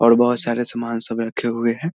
और बहुत सारे सामान सब रखे हुए हैं।